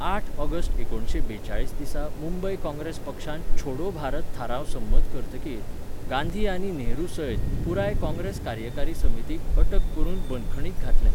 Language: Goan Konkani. आठ ऑगस्ट एकुणशे बेचाळीस दिसा मुंबय काँग्रेस पक्षान छोडो भारत थाराव संमत करतकीर, गांधी आनी नेहरूसयत, पुराय काँग्रेस कार्यकारी समितीक अटक करून बंदखणींत घातले.